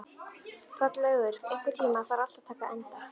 Hrollaugur, einhvern tímann þarf allt að taka enda.